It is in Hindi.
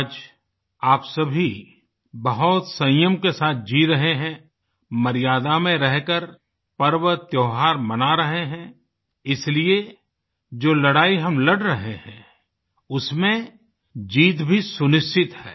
आज आप सभी बहुत संयम के साथ जी रहे हैं मर्यादा में रहकर पर्व त्योहार मना रहे हैं इसलिए जो लड़ाई हम लड़ रहे हैं उसमें जीत भी सुनिश्चित है